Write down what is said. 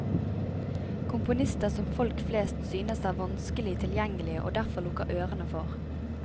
Komponister som folk flest synes er vanskelig tilgjengelig og derfor lukker ørene for.